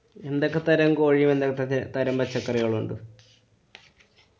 എന്തൊക്കെ തരം കോഴി തരം പച്ചക്കറികളും ഉണ്ട്?